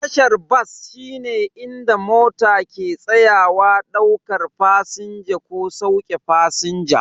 Tashar bas shine inda mota ke tsayawa daukar fasinja ko sauke fasinja.